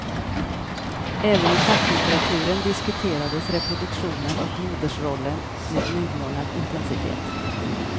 Även i facklitteraturen diskuterades reproduktionen och modersrollen med nymornad intensitet.